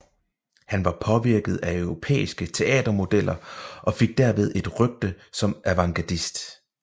Han var påvirket af europæiske teatermodeller og fik derved et rygte som avantgardist